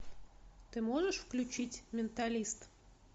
ты можешь включить менталист